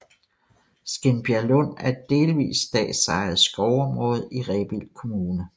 Skindbjerglund er et delvis statsejet skovområde i Rebild Kommune